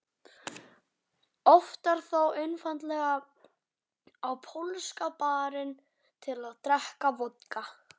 Oftar þó einfaldlega á Pólska barinn til að drekka vodka.